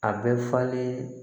A bɛ falen